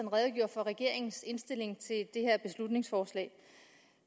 redegjorde for regeringens indstilling til det her beslutningsforslag